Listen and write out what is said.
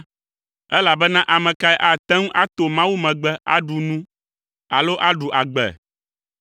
elabena ame kae ate ŋu ato Mawu megbe aɖu nu alo aɖu agbe?